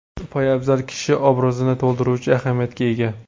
Poyabzal kishi obrazini to‘ldiruvchi ahamiyatga ega.